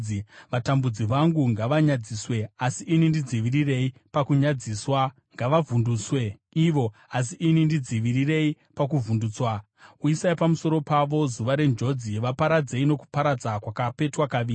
Vatambudzi vangu ngavanyadziswe, asi ini ndidzivirirei pakunyadziswa; ngavavhunduswe ivo, asi ini ndidzivirirei kuti ndisavhunduswa. Uyisai pamusoro pavo zuva renjodzi; vaparadzei nokuparadza kwakapetwa kaviri.